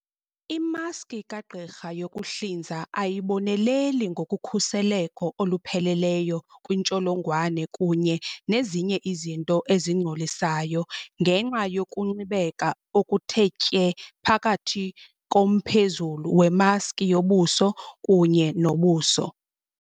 Imaski kagqirha yokuhlinza ayiboneleli ngokhuseleko olupheleleyo kwiintsholongwane kunye nezinye izinto ezingcolisayo ngenxa yokunxibeka okuthe tye phakathi komphezulu wemaski yobuso kunye nobuso.